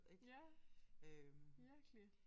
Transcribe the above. Ja virkelig